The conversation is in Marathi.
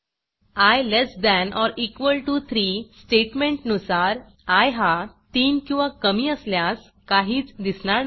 I less than or equal to 3 स्टेटमेंटनुसार आय हा 3 किंवा कमी असल्यास काहीच दिसणार नाही